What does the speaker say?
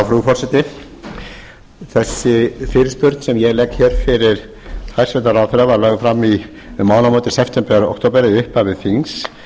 frú forseti þessi fyrirspurn sem ég legg hér fyrir hæstvirtan ráðherra var lögð fram um mánaðamótin september október eða í upphafi þings